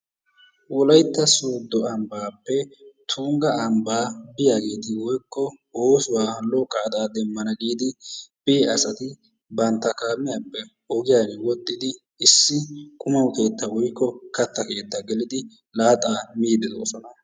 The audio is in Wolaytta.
Wolaytta sooddo ambbaappe tungga ambbaa biyageeti woykko oosuwa lo"o qaada demanna giidi biya asati bantta kaamiyappe ogiyan wodhdhidi issi qummaa keettaa woykko kattaa keettaa gelidi laaxaa miidi de'oosona.